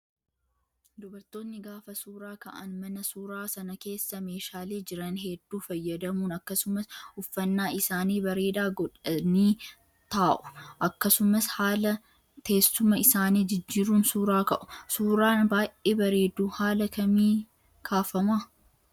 Dubartoonni gaafa suuraa ka'an mana suuraa sana keessa meeshaalee jiran hedduu fayyadamuun akasumas uffannaa isaanii bareedaa godhanii taa'u. Akkasumas haala teessuma isaanii jijjiiruun suuraa ka'u. Suuraan baay'ee bareedu haala kamii kaafamaa?